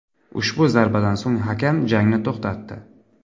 Ushbu zarbadan so‘ng hakam jangni to‘xtatdi.